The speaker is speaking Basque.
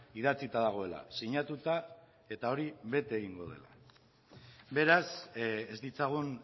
idatzita dagoela sinatuta eta hori bete egingo dela beraz ez ditzagun